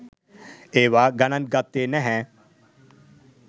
ඒවා ගණන් ගත්තෙ නැහැ.